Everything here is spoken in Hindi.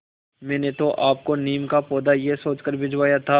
मैंने तो आपको नीम का पौधा यह सोचकर भिजवाया था